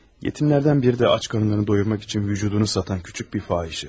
Yetimlərdən biri də ac qarınlarını doyurmaq üçün bədənini satan kiçik bir fahişədir.